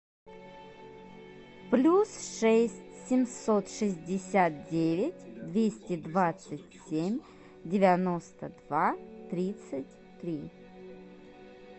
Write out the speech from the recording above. плюс шесть семьсот шестьдесят девять двести двадцать семь девяносто два тридцать три